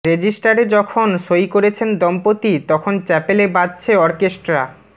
রেজিস্টারে যকন সই করছেন দম্পতি তখন চ্যাপেলে বাজছে অর্কেস্ট্রা